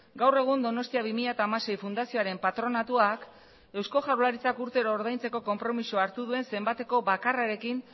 gaur egun donostia bi mila hamasei fundazioaren patronatuak eusko jaurlaritza urtero ordaintzeko konpromezua hartu duen zenbateko bakarrarekin